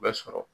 U bɛ sɔrɔ